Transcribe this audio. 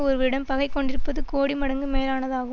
ஒருவரிடம் பகை கொண்டிருப்பது கோடி மடங்கு மேலானதாகும்